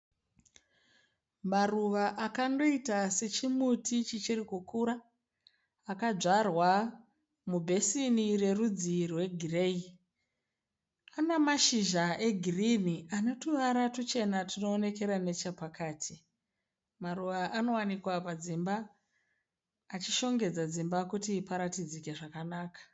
Maruva akandoita sechimuti chichiri kukura akadzvarwa mubhesini rerudzi rwegireyi. Ane mashizha egirini ane tuvara tuchena tunoonekera nechepakati. Maruva anowanikwa padzimba achishongedza padzimba kuti paratidzike zvakanaka.